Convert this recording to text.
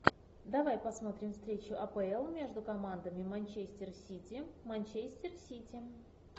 давай посмотрим встречу апл между командами манчестер сити манчестер сити